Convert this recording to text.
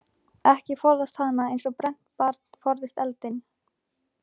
Eða forðast hana einsog brennt barn forðast eldinn.